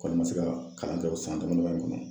Ko me se ka kalan kɛ o san damadama in kɔnɔ